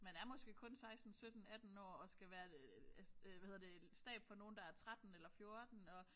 Man er måske kun 16 17 18 år og skal være øh altså det hvad hedder det stab for nogle der er 13 eller 14 og